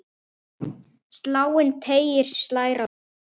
Sláninn teiginn slær á degi.